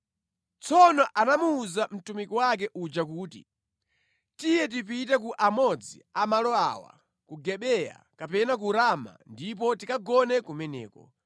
Tsono anamuwuza mtumiki wake uja kuti, “Tiye tipite ku amodzi a malo awa, ku Gibeya kapena ku Rama ndipo tikagone kumeneko.”